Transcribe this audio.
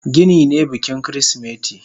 Gini ne bikin kirismeti.